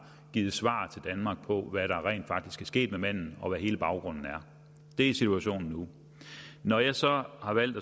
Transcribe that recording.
givet svar til danmark på hvad der rent faktisk er sket med manden og hvad hele baggrunden er det er situationen nu når jeg så har valgt